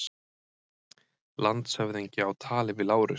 Landshöfðingi á tali við Lárus.